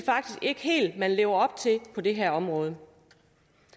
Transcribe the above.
ikke helt man lever op til på det her område